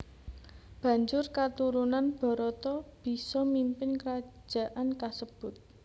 Banjur katurunan Barata bisa mimpin krajaan kasebut